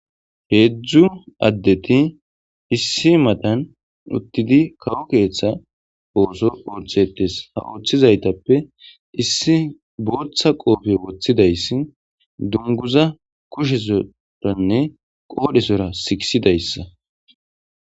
heedzdzu addeti issi madan uttidi kawo keeththa ooso ooththetes ha ooththizaytappe issi booththa qoofe woththidayssi dunguza koshesoranne qoodhesora siisidayssa